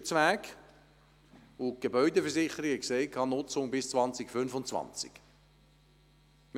Diese ist wirklich in einem schlechten Zustand, und die Gebäudeversicherung sprach von einer Nutzung bis 2025.